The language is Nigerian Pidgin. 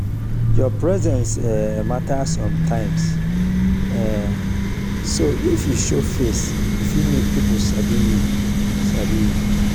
your presence um matter sometimes um so if you show face e fit make pipo sabi you sabi you